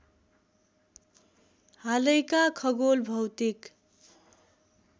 हालैका खगोल भौतिक